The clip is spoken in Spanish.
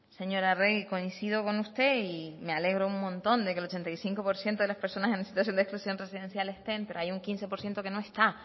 señora arregi coincido con usted y me alegro un montón de que el ochenta y cinco por ciento de las personas en situación de exclusión residencial estén pero hay un quince por ciento que no está